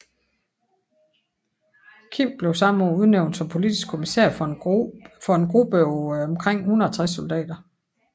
Kim blev samme år udnævnt som politisk kommissær for en gruppe på omkring 160 soldater